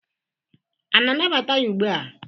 a na-anabata ya ugbu a?